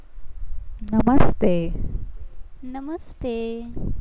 નમસ્તે નમસ્તે